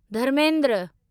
Dharmendra